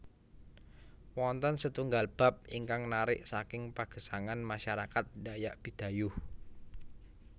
Wonten setunggal bab ingkang narik saking pagesangan masyarakat dayak bidayuh